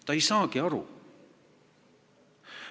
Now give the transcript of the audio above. Ta ei saagi aru.